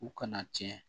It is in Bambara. U kana tiɲɛ